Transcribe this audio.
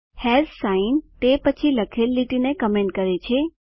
hash sign તે પછી લખેલ લીટીને કમેન્ટ કરે છે